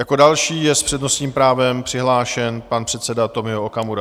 Jako další je s přednostním právem přihlášen pan předseda Tomio Okamura.